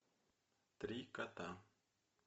три кота